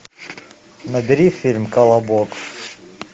набери фильм колобок